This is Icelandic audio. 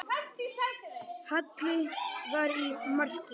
Halli var í marki.